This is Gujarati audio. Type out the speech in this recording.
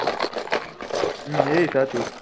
હમ એ એ સાચું